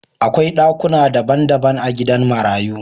Akwai dakuna dabban dabban a gidan marayu